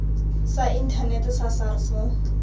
sa inthanete sa sars mo